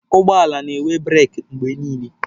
Ụgbọ ala na-enwe breeki mgbe niile.